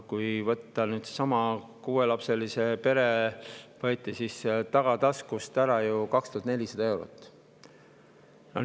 Kui võtta seesama, siis kuuelapseliselt perelt võeti tagataskust ära ju 2400 eurot.